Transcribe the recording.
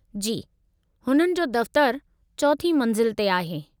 जी , हुननि जो दफ़्तरु चौथीं मंज़िल ते आहे।